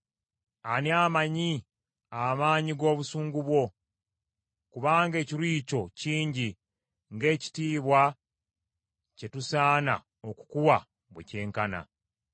Ani amanyi amaanyi g’obusungu bwo? Kubanga ekiruyi kyo kingi ng’ekitiibwa kye tusaana okukuwa bwe kyenkana.